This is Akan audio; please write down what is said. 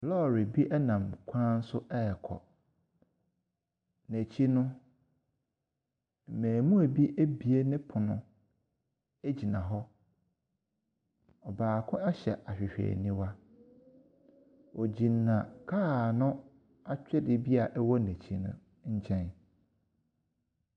Lɔɔre bi nam kwan ho rekɔ. N'akyi no, mmarimaa bi abie ne pono gyina hɔ. Baako hyɛ ahwehwɛniwa. Wɔgyna kaa no atweredeɛ bi a ɛwɔ n'akyi no nkyɛn.